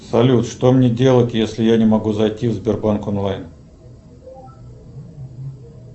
салют что мне делать если я не могу зайти в сбербанк онлайн